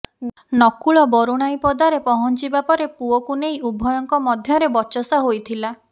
ନକୁଳ ବରୁଣାଇପଦାରେ ପହଂଚିବା ପରେ ପୁଅକୁ ନେଇ ଉଭୟଙ୍କ ମଧ୍ୟରେ ବଚସା ହୋଇଥିଲା